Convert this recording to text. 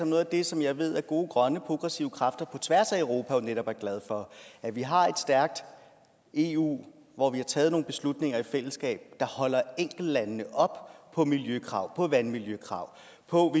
noget af det som jeg ved gode grønne progressive kræfter på tværs af europa netop er glade for at vi har et stærkt eu hvor vi har taget nogle beslutninger i fællesskab der holder enkeltlandene op på miljøkrav på vandmiljøkrav og